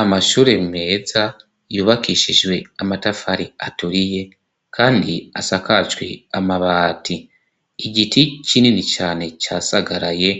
Amashure meza yubakishijwe amatafari aturiye, kandi asakacwe amabati igiti cinini cane casagaraye